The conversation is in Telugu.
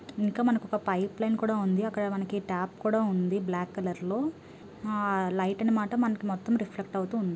ఇంకా మనకొక పైప్ లైన్ కూడా ఉంది. అక్కడ మనకి టాప్ కూడా ఉంది బ్లాక్ కలర్ లో ఆ లైట్ అని మాట మనకి మొత్తం రిఫ్లెక్ట్ అవుతూంది.